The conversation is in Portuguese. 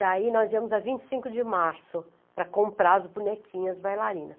Daí nós íamos a vinte e cinco de março para comprar as bonequinhas bailarinas.